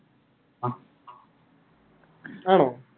അഹ് ആണോ